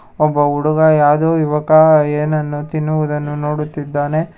ಒಬ್ಬ ಹುಡುಗ ಯಾವ್ದೋ ಯುವಕ ಏನನ್ನು ತಿನ್ನುವುದನ್ನು ನೋಡುತ್ತಿದ್ದಾನೆ.